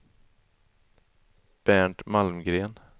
Bernt Malmgren